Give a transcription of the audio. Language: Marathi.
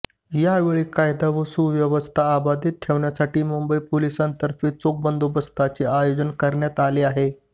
यावेळी कायदा व सुव्यवस्था अबाधित ठेवण्यासाठी मुंबई पोलिसांतर्फे चोख बंदोबस्ताचे आयोजन करण्यात आले आहे